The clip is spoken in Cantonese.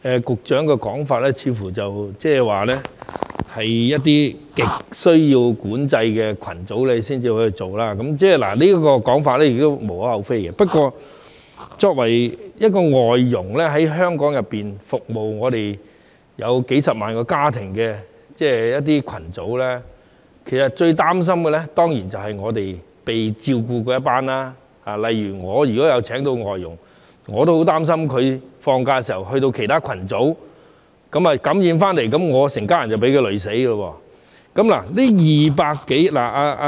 局長的說法似乎是一些極需要管制的群組才會處理，這說法亦無可厚非，不過，外傭作為服務香港數十萬個家庭的群組，感到最擔心的當然是被照顧的一群，如果我有聘請外傭，我也會擔心他在放假時從其他群組受到感染，那麼我全家人都會被他連累。